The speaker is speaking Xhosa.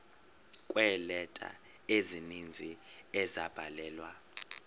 kweeleta ezininzi ezabhalelwa